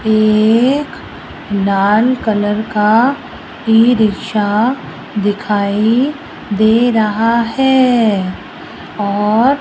एक लाल कलर का ई रिक्शा दिखाई दे रहा है और --